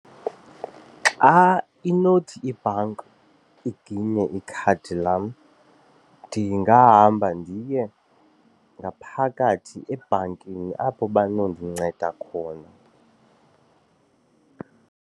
Xa inothi ibhanka iginye ikhadi lam ndingahamba ndiye ngaphakathi ebhankini apho banondinceda khona.